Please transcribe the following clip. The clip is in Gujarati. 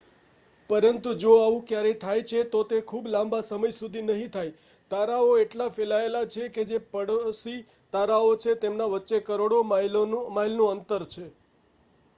"પરંતુ જો આવું ક્યારેય થાય છે તો તે ખૂબ લાંબા સમય સુધી નહીં થાય. તારાઓ એટલા ફેલાયેલા છે કે જે "પડોશી" તારાઓ છે તેમના વચ્ચે કરોડો માઇલનું અંતર છે.